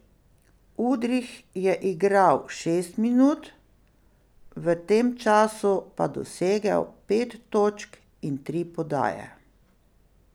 Udrih je igral šest minut, v tem času pa dosegel pet točk in tri podaje.